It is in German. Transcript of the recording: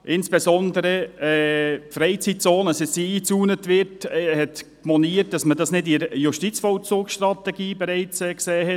Insbesondere wurde moniert, dass uns die Einzäunung der Freizeitzone nicht bereits im Rahmen der Justizvollzugsstrategie unterbreitet wurde.